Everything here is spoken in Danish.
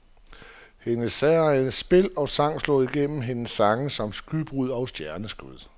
Hendes særegne spil og sang slår igennem hendes sange som skybrud og stjerneskud.